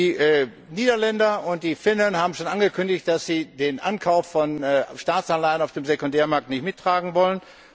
Die Niederländer und die Finnen haben schon angekündigt, dass sie den Ankauf von Staatsanleihen auf dem Sekundärmarkt nicht mittragen wollen.